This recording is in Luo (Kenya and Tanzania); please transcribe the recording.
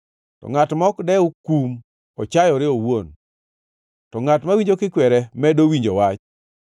Ngʼat ma ok dew kum ochayore owuon, to ngʼat mawinjo kikwere medo winjo wach.